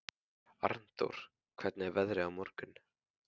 Arndór, hvernig er veðrið á morgun?